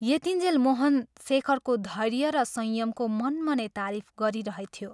यतिञ्जेल मोहन शेखरको धैर्य र संयमको मनमनै तारीफ गरिरहेथ्यो।